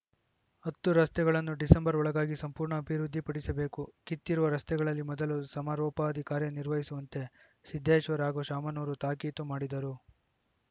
ಹತ್ತು ರಸ್ತೆಗಳನ್ನು ಡಿಸೆಂಬರ್‌ ಒಳಗಾಗಿ ಸಂಪೂರ್ಣ ಅಭಿವೃದ್ಧಿಪಡಿಸಬೇಕು ಕಿತ್ತಿರುವ ರಸ್ತೆಗಳಲ್ಲಿ ಮೊದಲು ಸಮರೋಪಾದಿ ಕಾರ್ಯ ನಿರ್ವಹಿಸುವಂತೆ ಸಿದ್ದೇಶ್ವರ್‌ ಹಾಗೂ ಶಾಮನೂರು ತಾಕೀತು ಮಾಡಿದರು